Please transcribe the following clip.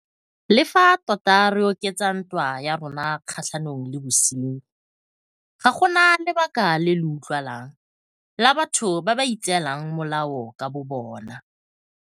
Le fa tota re oketsa ntwa ya rona kgatlhanong le bosenyi, ga go na lebaka le le utlwalang la batho ba ba itseelang molao ka bobona.